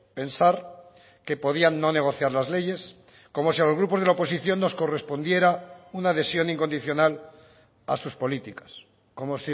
pensar que podían no negociar las leyes como si a los grupos de la oposición nos correspondiera una adhesión incondicional a sus políticas como